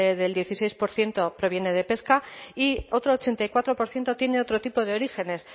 del dieciséis por ciento proviene de pesca y otro ochenta y cuatro por ciento tiene otro tipo de orígenes